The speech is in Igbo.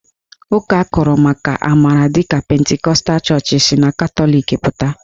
Ụka akụrụmaka amara dịka pentikọtal chọọchị si na Katọlik pụta.